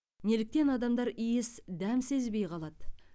неліктен адамдар иіс дәм сезбей қалады